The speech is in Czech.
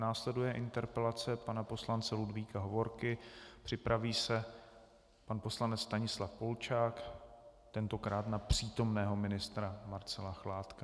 Následuje interpelace pana poslance Ludvíka Hovorky, připraví se pan poslanec Stanislav Polčák, tentokrát na přítomného ministra Marcela Chládka.